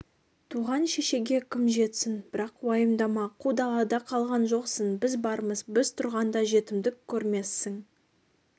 туған шешеге кім жетсін бірақ уайымдама қу далада қалған жоқсың біз бармыз біз тұрғанда жетімдік көрмессің